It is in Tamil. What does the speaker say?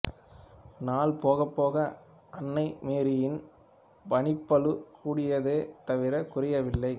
நாள் போகப்போக அன்னை மேரியானின் பணிப்பளு கூடியதே தவிர குறையவில்லை